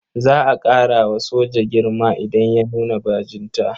Za a ƙara wa soja girma idan ya nuna bajinta.